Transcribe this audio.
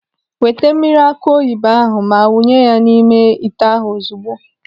Weta mmiri akụ oyibo ahụ ma wụnye ya n'ime ite ahụ ozugbo.